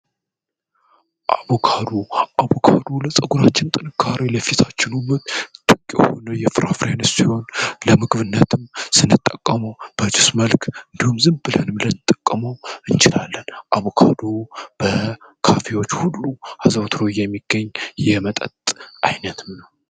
አቡአቡካዱ ለጸጉራችን ጥንካሩ ለፊሳችን ሁመት ትግ የሆነ የፍራፍሬንስ ሲሆን ለምግብነትም ስንጠቀሙ በtስ መልክ እንዲሁም ዝም ብልህንም ለንጠቀመ እንችላለን አቡካዱ በካፊዎች ሁሉ ሀዘውትሩ እየሚገኝ የመጠጥ አይነት ነው፡፡